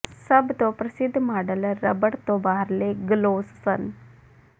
ਸਭ ਤੋਂ ਪ੍ਰਸਿੱਧ ਮਾਡਲ ਰਬੜ ਤੋਂ ਬਾਹਰਲੇ ਗਲੋਸ ਸਨ